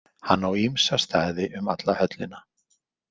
Hann á ýmsa staði um alla höllina.